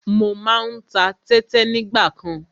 Mo má ń ta tẹ́tẹ nígbàkan.